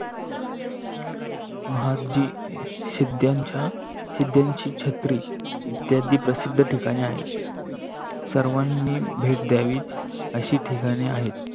माहजी शीद्येच्या शीध्येची छेत्री इत्यादी प्रसिद्ध ठिकानी आहे. सर्वानी भेट ध्यावी आशी ठिकानी आहे.